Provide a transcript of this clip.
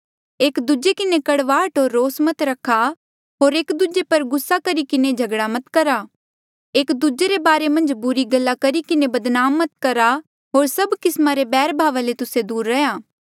एक दूजे किन्हें कड़वाहट होर रोस मत रखा होर एक दूजे पर गुस्सा करी किन्हें झगड़ा मत करा एक दूजे रे बारे मन्झ बुरी गल्ला करी किन्हें बदनाम मत करा होर सभ किस्मा रे बैरभाव ले तुस्से दूर रैहया